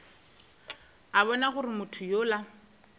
a bona gore motho yola